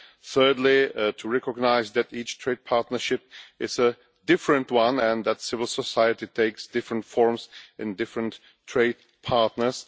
Thirdly, to recognise that each trade partnership is a different one and that civil society takes different forms in different trade partners.